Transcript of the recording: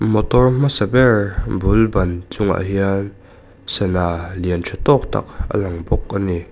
motor hmasa ber bul ban chungah hian sana lian tha tâwk tak a lang bawk a ni.